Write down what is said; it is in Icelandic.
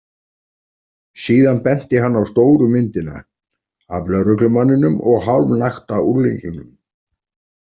Síðan benti hann á stóru myndina, af lögreglumanninum og hálfnakta unglingnum.